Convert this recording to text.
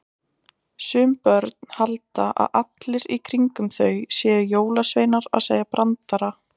Sum börn halda að allir í kringum þau séu jólasveinar að segja brandara.